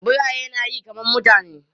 Biraye na yi kaman mutane.